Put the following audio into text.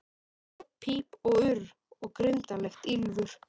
Óp píp og urr, og grimmdarlegt ýlfur.